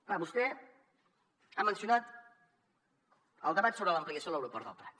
clar vostè ha mencionat el debat sobre l’ampliació de l’aeroport del prat